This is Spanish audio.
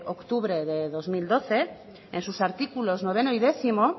octubre del dos mil doce en sus artículos nueve y diez